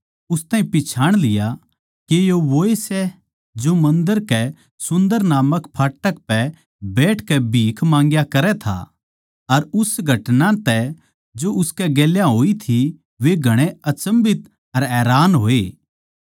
उस ताहीं पिच्छाण लिया के यो वोए सै जो मन्दर कै सुन्दर नामक फाटक पै बैठकै भीख माँग्या करै था अर उस घटना तै जो उसकै गेल्या होई थी वे घणे अचम्भित अर हैरान होए